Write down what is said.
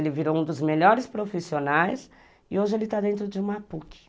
Ele virou um dos melhores profissionais e hoje ele está dentro de uma puque